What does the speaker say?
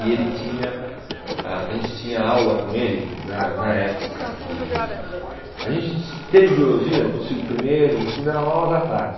E ele tinha, ah a gente tinha aula com ele na na época que... A gente tin teve biologia do se primeiro, no segundo eram aulas à tarde.